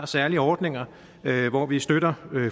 særlige ordninger hvor vi støtter